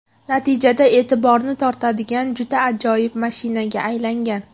Natijada e’tiborni tortadigan juda ajoyib mashinaga aylangan.